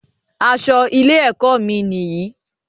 Aṣọ ilé ẹkọ mí níyì